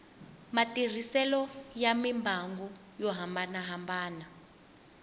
matirhiselo ya mimbangu yo hambanahambana